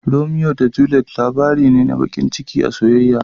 Romeo da Juliet labari ne na baƙin ciki na soyayya.